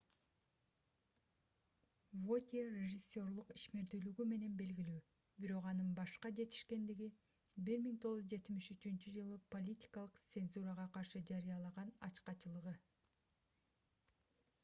вотье режиссерлук ишмердүүлүгү менен белгилүү бирок анын башка жетишкендиги - 1973-ж политикалык цензурага каршы жарыялаган ачкачылыгы